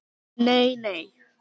Nei nei.